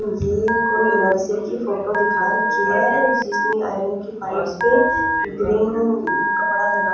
ये कोई नर्सिंग की फोटो दिखा रखी है जिसमें आयरन की पाइप्स पे ग्रीन कपड़ा लगा--